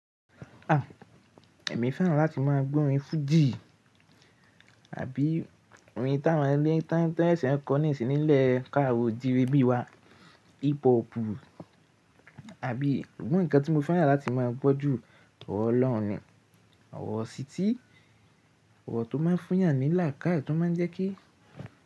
À, èmi fẹ́ràn láti má a gbọ́ orin Fuji àbí orin tá a má a tiwon sẹsẹ kọ́ nísìn ní lẹ́ẹ́ káàró ojiire bí wa, hip hopu àbí sugbon ǹkan tí mo fẹ́ràn láti má a gbọ́ ju ọ̀rọ̀ ọlọ́run, ọ̀rọ̀ isítí, ọ̀rọ̀ tó má a fún eyàn ní làkáye tí ó má a jẹ́ kí.